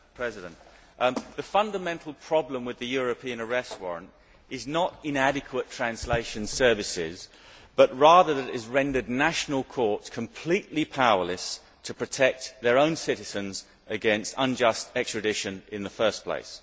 Madam President, the fundamental problem with the European Arrest Warrant is not inadequate translation services, but rather that it has rendered national courts completely powerless to protect their own citizens against unjust extradition in the first place.